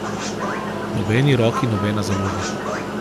Nobeni roki, nobena založba.